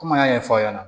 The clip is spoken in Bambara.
Kɔmi an y'a ɲɛfɔ aw ɲɛna